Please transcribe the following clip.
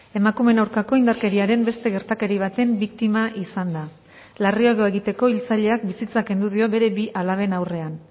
emakumeen aurkako indarkeriaren beste gertakari baten biktima izan da larriago egiteko hiltzaileak bizitza kendu dio bere bi alaben aurrean